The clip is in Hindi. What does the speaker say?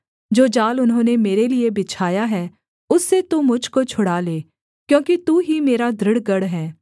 जो जाल उन्होंने मेरे लिये बिछाया है उससे तू मुझ को छुड़ा ले क्योंकि तू ही मेरा दृढ़ गढ़ है